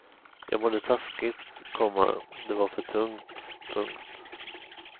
Jag mådde taskigt, komma det var för tungt. punkt